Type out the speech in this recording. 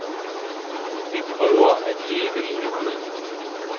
Vi prøver at leve i nuet.